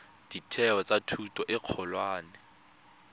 ditheo tsa thuto e kgolwane